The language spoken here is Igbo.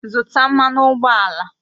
Zụtà mmanụ ụgbọala!